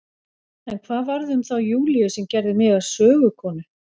En hvað varð um þá Júlíu sem gerði mig að sögukonu?